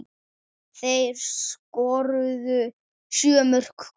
Þeir skoruðu sjö mörk hvor.